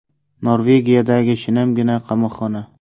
Norvegiyadagi shinamgina qamoqxona.